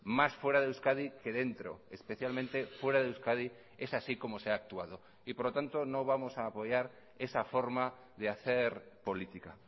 más fuera de euskadi que dentro especialmente fuera de euskadi es así como se ha actuado y por lo tanto no vamos a apoyar esa forma de hacer política